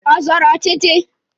Ọ zọrọ ọchịchị?